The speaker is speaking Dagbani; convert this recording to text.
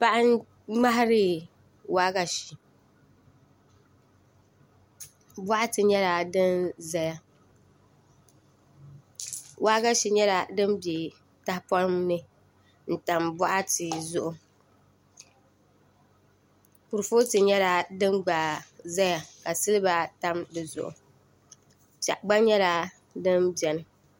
Paɣa n ŋmahari waagashe boɣati nyɛla dim ʒɛya waagashe nyɛla din bɛ tahapoŋni n tam boɣati zuɣu kuripooti nyɛla din gba ʒɛya ka silba tam di zuɣu piɛɣu gba nyɛla din bɛni